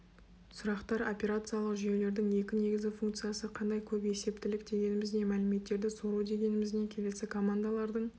сұрақтар операциялық жүйелердің екі негізгі функциясы қандай көпесептілік дегеніміз не мәліметтерді сору дегеніміз не келесі командалардың